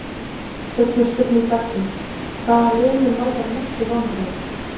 Seinni spurning dagsins: Hvaða lið mun valda mestu vonbrigðum?